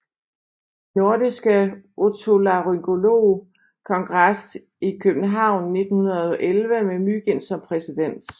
Nordiske Otolaryngolog Kongres i København i 1911 med Mygind som præsident